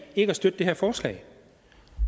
ikke at støtte det her forslag